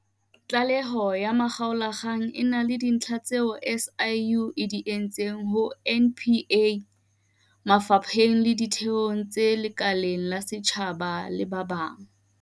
Tlaleho ya makgaolakgang e na le dintlha tseo SIU e di isitseng ho NPA, mafa pheng le ditheong tse lekaleng la setjhaba le ba bang.